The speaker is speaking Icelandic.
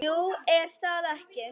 Jú, er það ekki?